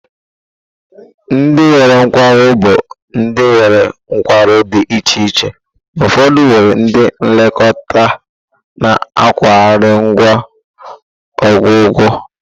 Ndị nwere nkwarụ bụ ndị nwere nkwarụ di iche iche, ụfọdụ nwere ndị nlekọta na akụrụngwa ọgwụgwọ.